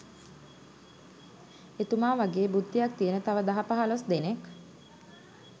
එතුමා වගේ බුද්ධියක් තියෙන තව දහ පහලොස් දෙනෙක්